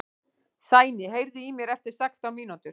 Sæný, heyrðu í mér eftir sextán mínútur.